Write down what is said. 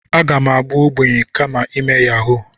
Aga m abụ ogbenye kama ime yahuu.